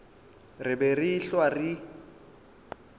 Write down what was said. re be re ehlwa re